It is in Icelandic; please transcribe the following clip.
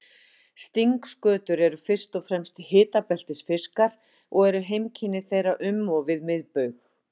Stingskötur eru fyrst og fremst hitabeltisfiskar og eru heimkynni þeirra um og við miðbaug.